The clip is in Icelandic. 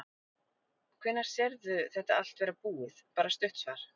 Hvenær sérðu þetta allt vera búið, bara stutt svar?